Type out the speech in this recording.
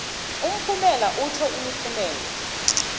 umphumela itjho imiphumela